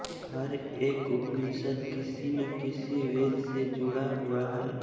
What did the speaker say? हर एक उपनिषद किसी न किसी वेद से जुड़ा हुआ है